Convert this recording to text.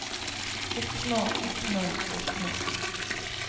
oppnå oppnå oppnå